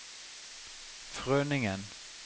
Frønningen